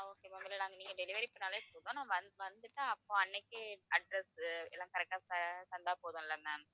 okay ma'am இல்லை நாங்க நீங்க delivery பண்ணாலே போதும் நான் வந்~ வந்துட்டு அப்போ அன்னைக்கே address எல்லாம் correct ஆ தந்தா போதும்ல ma'am